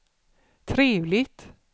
trevligt